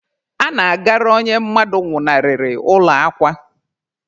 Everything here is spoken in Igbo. A na-agara onye mmadụ nwụnarịrị ụlọ akwa.